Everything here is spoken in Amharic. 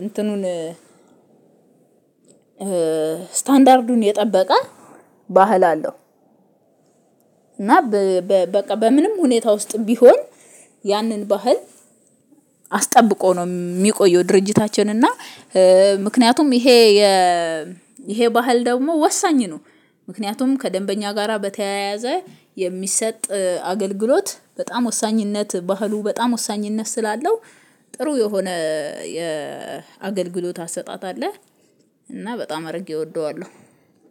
እንትኑን ስታንዳርዱን የጠበቀ ባህል አለው። እና በቃ በምንም ሁኔታ ውስጥም ቢሆን ያንን ባህል አስጠብቆ ነው የሚቆየው ድርጅታችን። እና ምክንያቱም ይሄ የ ይሄ ባህል ደግሞ ወሳኝ ነው። ምክንያቱም ከደንበኛ ጋራ በተያያዘ የሚሰጥ አገልግሎት በጣም ወሳኝነት ባህሉ በጣም ወሳኝነት ስላለው ጥሩ የሆነ የአገልግሎት አሰጣጥ አለ። እና በጣም አድርጌ እወደዋለሁ